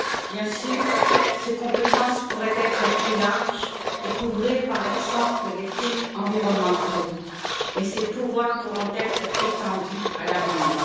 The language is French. Bien sûr, les compétences du parquet pourraient être plus larges et couvrir, par exemple, les crimes environnementaux, mais ses pouvoirs pourront être étendus à l'avenir.